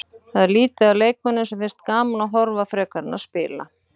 Það er lítið af leikmönnum sem finnst gaman að horfa frekar en að spila.